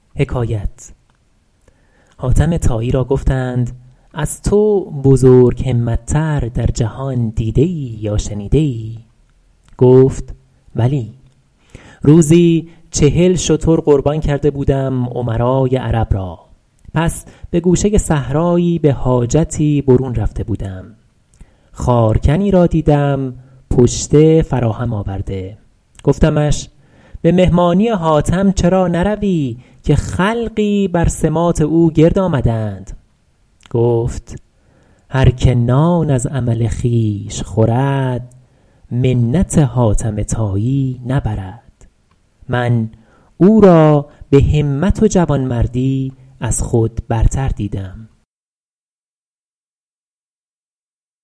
حاتم طایی را گفتند از تو بزرگ همت تر در جهان دیده ای یا شنیده ای گفت بلی روزی چهل شتر قربان کرده بودم امرای عرب را پس به گوشه صحرایی به حاجتی برون رفته بودم خارکنی را دیدم پشته فراهم آورده گفتمش به مهمانی حاتم چرا نروی که خلقی بر سماط او گرد آمده اند گفت هر که نان از عمل خویش خورد منت حاتم طایی نبرد من او را به همت و جوانمردی از خود برتر دیدم